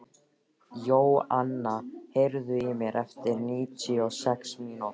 Jóanna, heyrðu í mér eftir níutíu og sex mínútur.